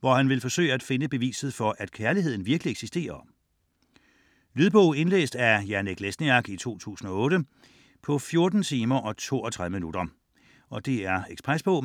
hvor han vil forsøge at finde beviset for, at kærligheden virkelig eksisterer. Lydbog 17945 Indlæst af Janek Lesniak, 2008. Spilletid: 14 timer, 32 minutter. Ekspresbog